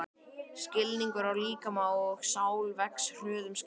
Skilningur á líkama og sál vex hröðum skrefum.